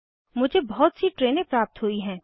मुझे बहुत सी ट्रेनें प्राप्त हुई हैं